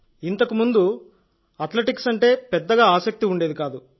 ఇంతకు ముందు అథ్లెటిక్స్ అంటే పెద్దగా ఆసక్తి ఉండేది కాదు